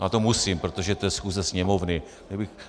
Ale to musím, protože to je schůze Sněmovny.